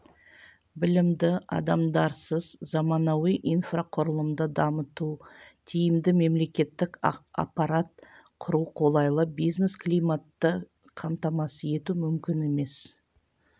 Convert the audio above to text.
білімді адамдарсыз заманауи инфрақұрылымды дамыту тиімді мемлекеттік аппарат құру қолайлы бизнес климатты қамтамасыз ету мүмкін емес